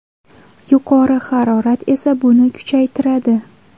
Yuqori harorat esa buni kuchaytiradi.